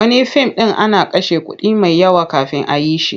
Wani fim ɗin ana kashe kuɗi mai yawa kafin a yi shi.